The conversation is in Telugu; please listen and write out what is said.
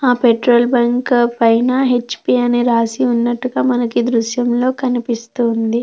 ఆ పెట్రోల్ బంక్ పైన హెచ్ పి అని రాసి ఉన్నట్టుగా మనకి దృశ్యంలో కనిపిస్తుంది.